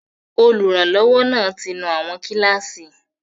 Olùrànlọ́wọ́ náà ti nú àwọn kíláàsì